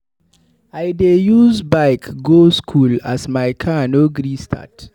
I use bike go skool as my car no gree start.